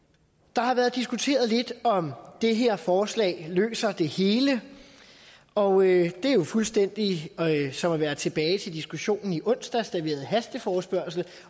der har været diskuteret lidt om det her forslag løser det hele og det er jo fuldstændig som at være tilbage til diskussionen i onsdags da vi havde hasteforespørgsel